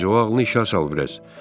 Terinci o ağlını işə salıb biraz.